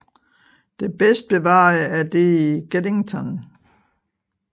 Det bedst bevarede er det i Geddington